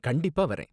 கண்டிப்பா வர்றேன்.